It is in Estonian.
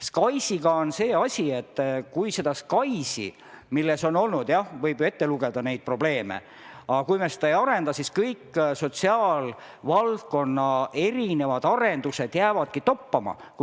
SKAIS-iga on see asi, et kui me ei saa arendatud seda SKAIS-i, millega on olnud, jah, probleeme – võib ju neid ette lugeda –, siis kõik sotisaalvaldkonna arendused jäävadki toppama.